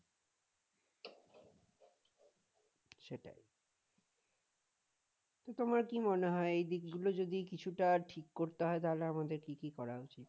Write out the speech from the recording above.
তো তোমার কি মনে হয় এই দিকগুলো যদি কিছুটা ঠিক করতে হয় তাহলে আমাদের কি কি করা উচিত?